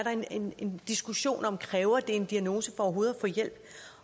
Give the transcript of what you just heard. en diskussion om kræves en diagnose for overhovedet at få hjælp